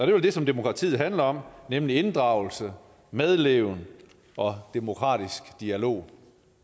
vel det som demokratiet handler om nemlig inddragelse medleven og demokratisk dialog